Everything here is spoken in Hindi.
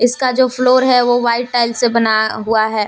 इसका जो फ्लोर है वो वाइट टाइल से बना हुआ है।